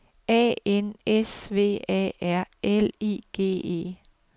A N S V A R L I G E